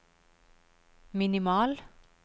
minimal